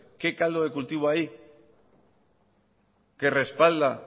qué caldo de cultivo hay que respalda